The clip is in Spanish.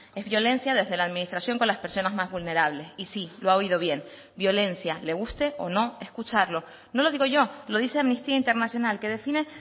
es violencia desde la administración con las personas más vulnerables y sí lo ha oído bien violencia le guste o no escucharlo no lo digo yo lo dice amnistía internacional que define